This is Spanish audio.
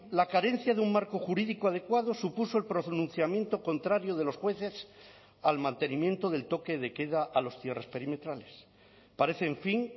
la carencia de un marco jurídico adecuado supuso el pronunciamiento contrario de los jueces al mantenimiento del toque de queda a los cierres perimetrales parece en fin